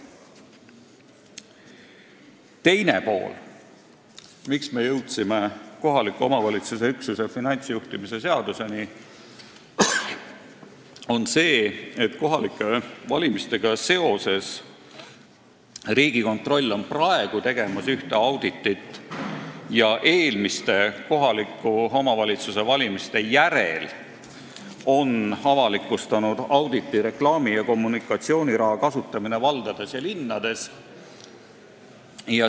Teine pool, miks me jõudsime kohaliku omavalitsuse üksuse finantsjuhtimise seaduseni, on see, et kohalike valimistega seoses teeb Riigikontroll praegu ühte auditit ning on eelmiste kohaliku omavalitsuse valimiste järel avalikustanud auditi "Reklaami- ja kommunikatsiooniraha kasutamine valdades ja linnades".